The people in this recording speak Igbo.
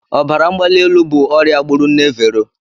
Ọbara mgbali elu bụ ọrịa gburu nne Vero.